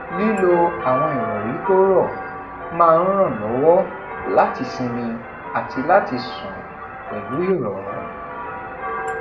lí lo awọn ìròrí to rọ máa n ran lówó láti sinmi àti láti sùn pẹlú ìròrùn